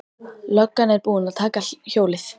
Löggan er búin að taka hjólið.